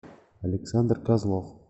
александр козлов